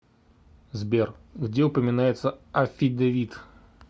сбер где упоминается аффидевит